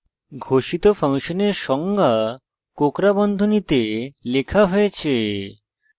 ঘোষিত ফাংশনের সংজ্ঞা কোঁকড়া বন্ধনীতে লেখা হয়েছে